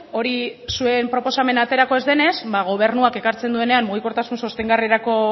hori zuen proposamena aterako ez denez ba gobernuak ekartzen duenean mugikortasun sostengarrirako